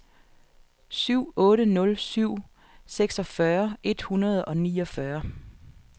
syv otte nul syv seksogfyrre et hundrede og niogfyrre